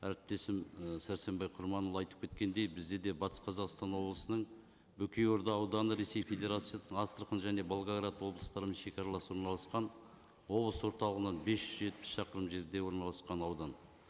әріптесім і сәрсенбай құрманұлы айтып кеткендей бізде де батыс қазақстан облысының бөкей орда ауданы ресей федарациясының астрахан және волгоград облыстарымен шегаралас орналасқан облыс орталығынан бес жүз жетпіс шақырым жерде орналасқан аудан